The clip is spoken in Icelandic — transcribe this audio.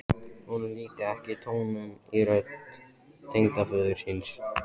Honum líkaði ekki tónninn í rödd tengdaföður síns.